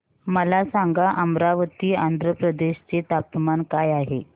मला सांगा अमरावती आंध्र प्रदेश चे तापमान काय आहे